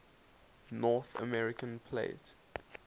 north american plate